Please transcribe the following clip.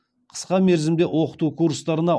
қысқа мерзімде оқыту курстарына